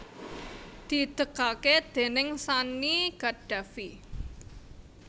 didegaké déning Sanny Gaddafi